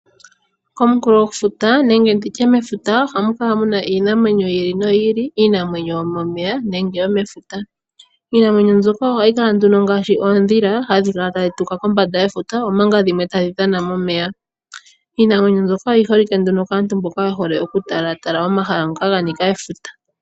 Komunkulofuta nenge nditye mefuta ohamu kala muna iinamwenyo yi ili noyi ili, iinamwenyo yomomeya nenge yomefuta. Iinamwenyo mbyoka ohahi kala nduno ngaashi oodhila dhoka hadhi kala tadhi tuka kombanda yefuta, omanga dhimwe tadhi dhana momeya. Iinamwenyo mbyoka oyi holike nduno kaantu mboka ye hole okutalatala omahala ngoka ga nika efuta.